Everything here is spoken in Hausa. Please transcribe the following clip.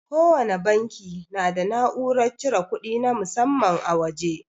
Kowana banki na da na'urar cire kudi na musamman a waje.